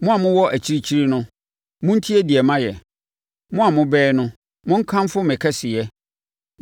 Mo a mowɔ akyirikyiri no, montie deɛ mayɛ; mo a mobɛn no, monkamfo me kɛseyɛ!